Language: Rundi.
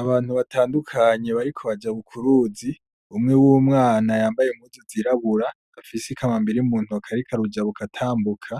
Abantu batandukanye bariko bajabuka uruzi, umwe wumwana yambaye impuzu zirabura afise ikambambiri muntoke ariko arujabuka atambuka,